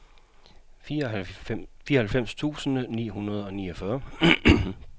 fireoghalvfems tusind ni hundrede og niogfyrre